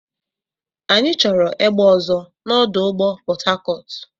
Anyị chọrọ egbe ọzọ na ọdụ ụgbọ Port Harcourt.